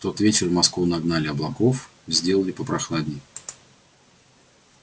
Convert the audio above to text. в тот вечер в москву нагнали облаков сделали попрохладней